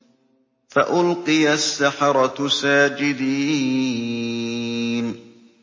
فَأُلْقِيَ السَّحَرَةُ سَاجِدِينَ